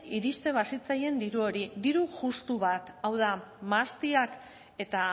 iristen bazitzaien diru hori diru justu bat hau da mahastiak eta